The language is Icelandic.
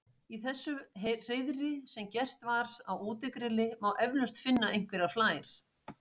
í þessu hreiðri sem gert var á útigrilli má eflaust finna einhverjar flær